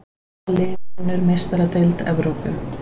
Hvað lið vinnur Meistaradeild Evrópu?